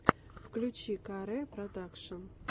включи ка ре продакшен